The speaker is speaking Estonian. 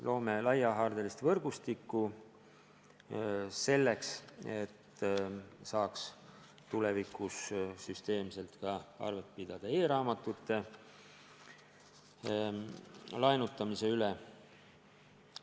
Loome laiahaardelist võrgustikku selleks, et saaks tulevikus süsteemselt arvet pidada ka e-raamatute laenutamise üle.